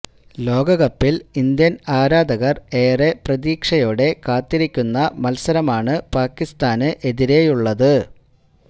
ലോകകപ്പില് ഇന്ത്യന് ആരാധകര് ഏറെ പ്രതീക്ഷയോടെ കാത്തിരിക്കുന്ന മത്സരമാണ് പാകിസ്താന് എതിരെയുള്ളത്